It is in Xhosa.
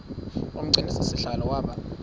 umgcini sihlalo waba